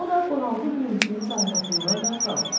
O da bığaltı gülümsəyib zarafatından da qalmamışdı.